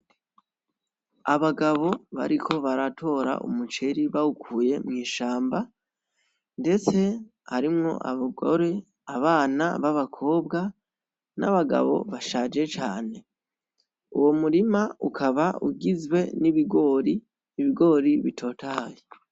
Abagabo bariko baratora umuceri bawukuye mwishamba ndetse harimwo abagore, abana b'abakobwa, n'abagabo bashaje cane, uwo m'urima ukaba ugizwe n'ibigori, ibigori bitotahaye.